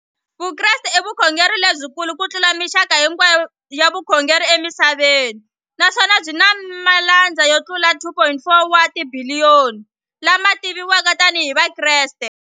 Vukreste i vukhongeri lebyi kulu kutlula mixaka hinkwayo ya vukhongeri emisaveni, naswona byi na malandza yo tlula 2.4 wa tibiliyoni, la ma tiviwaka tani hi Vakreste.